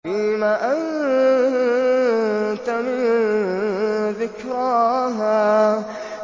فِيمَ أَنتَ مِن ذِكْرَاهَا